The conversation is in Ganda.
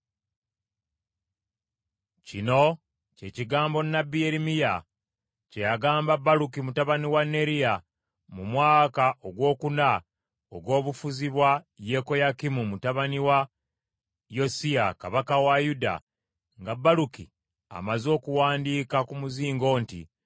Kino kye kigambo nnabbi Yeremiya kye yagamba Baluki mutabani wa Neriya mu mwaka ogwokuna ogw’obufuzi bwa Yekoyakimu mutabani wa Yosiya kabaka wa Yuda, nga Baluki amaze okuwandiika ku muzingo nti,